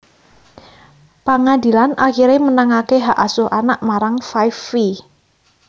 Pangadilan akiré menangaké hak asuh anak marang Five Vi